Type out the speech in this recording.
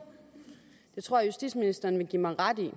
det tror jeg justitsministeren vil give mig ret i jeg